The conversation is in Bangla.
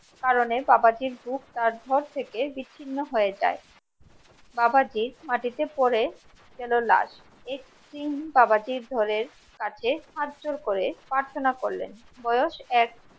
কারণে বাবাজীর বুক তার ধড় থেকে বিচ্ছিন্ন হয়ে যায় বাবাজী মাটিতে পড়ে সিং বাবাজীর ধড়ের কাছে হাতজোড় করে প্রার্থনা করলেন বয়স এক